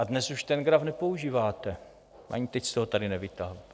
A dnes už ten graf nepoužíváte, ani teď jste ho tady nevytáhl.